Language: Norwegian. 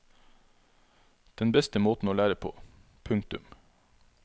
Den beste måten å lære på. punktum